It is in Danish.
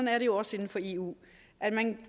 er det jo også inden for eu at man